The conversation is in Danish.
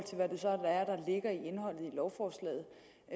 lovforslaget